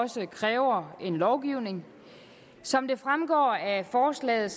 som kræver lovgivning som det fremgår af forslaget